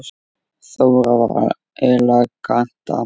Þóra var elegant dama.